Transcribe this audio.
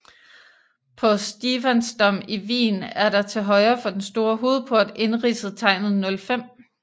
På Stephansdom i Wien er der til højre for den store hovedport indridset tegnet O5